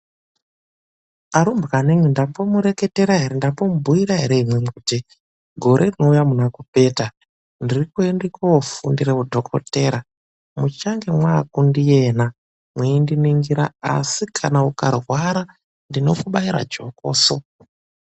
ARUMBWANAMWI NDAMBOMUREKETERA ERE ?NDAMBOMUBHUYIRA ERE ?KUTI GORE RINOUYA MUNA KUPETA NDIRIKOFUNDIRA UDHOKODEYA MUCHANGE MAAKUNDIENA MWEINDININGIRA ASI KANA UKARWARA NDINOKUBAIRA JOKOSI.